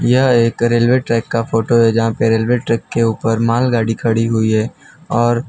यह एक railway track का फोटो है जहां पे रेलवे ट्रैक के ऊपर माल गाड़ी खड़ी हुई है और --